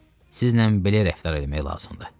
Sizlə belə rəftar eləmək lazımdır.